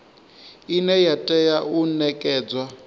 ine ya tea u nekedzwa